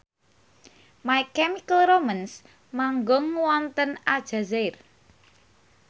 My Chemical Romance manggung wonten Aljazair